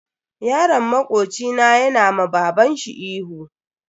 Yaron makoci na yana ma babanshi ihu.